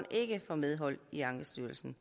ikke får medhold i ankestyrelsen